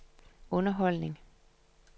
underholdning